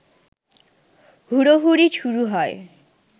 হুড়োহুড়ি শুরু হয়